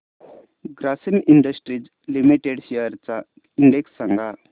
Grasim industries limited shares चा index सांगा